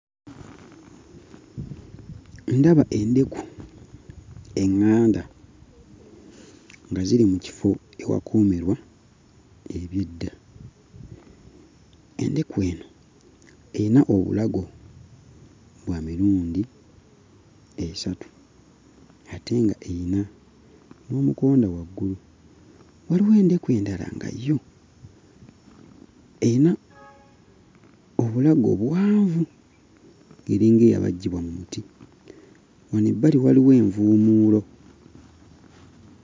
Ndaba endeku eŋŋanda nga ziri mu kifo ewakuumirwa eby'edda. Endeku eno eyina obulago bwa mirundi esatu, ate nga eyina n'omukonda waggulu. Waliwo endeku endala nga yo eyina obulago buwanvu eringa eyabaggyibwa mu muti. Wano ebbali waliwo envuumuulo.